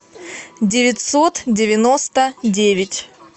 девятьсот девяносто девять